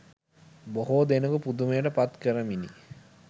බොහෝ දෙනකු පුදුමයට පත්කරමිනි.